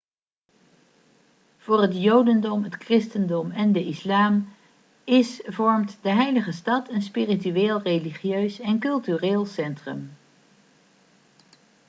voor het jodendom het christendom en de islam is vormt de heilige stad een spiritueel religieus en cultureel centrum